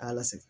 A y'a la segu